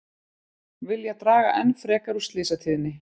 Vilja draga enn frekar úr slysatíðni